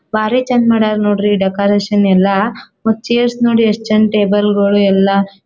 ಬಾರಿ ಚಂದ್ ಮಡ್ಯಾರ್ ನೋಡ್ರಿ ಈ ಡೆಕೋರೇಷನ್ ಎಲ್ಲ ಮತ್ತ್ ಚೇರ್ಸ್ ನೋಡಿ ಎಸ್ಟ್ ಚೆಂದ ಟೇಬಲ್ ಗೊಳ್ ಎಲ್ಲ--